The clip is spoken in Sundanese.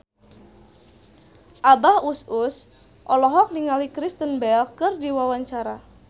Abah Us Us olohok ningali Kristen Bell keur diwawancara